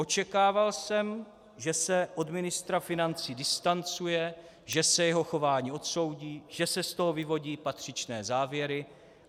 Očekával jsem, že se od ministra financí distancuje, že se jeho chování odsoudí, že se z toho vyvodí patřičné závěry.